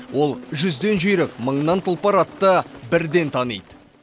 ол жүзден жүйрік мыңнан тұлпар атты бірден таниды